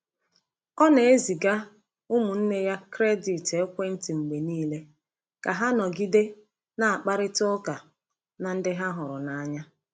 Ọ na-eziga ụmụnne ya kredit ekwentị mgbe niile ka ha nọgide na-akparịta ụka na ndị ha hụrụ n’anya.